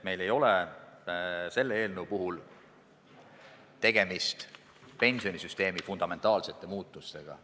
Meil ei ole selle eelnõu puhul tegemist pensionisüsteemi fundamentaalsete muutustega.